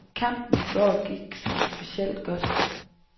Kampen i går gik som specielt godt.